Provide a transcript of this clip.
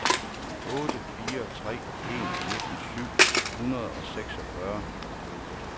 otte fire tre en nitten syv hundrede og seksogfyrre